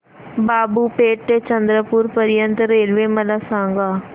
बाबूपेठ ते चंद्रपूर पर्यंत रेल्वे मला सांगा